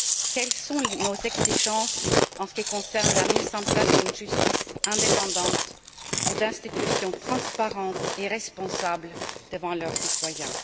Quelles sont nos exigences en ce qui concerne la mise en place d'une justice indépendante ou d'institutions transparentes et responsables devant leurs citoyens?